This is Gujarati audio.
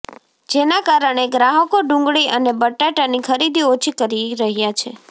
જેના કારણે ગ્રાહકો ડુંગળી અને બટાટાની ખરીદી ઓછી કરી રહ્યા છે